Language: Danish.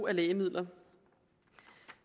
af lægemidler